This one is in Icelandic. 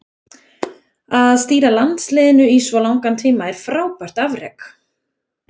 Að stýra landsliðinu í svo langan tíma er frábært afrek.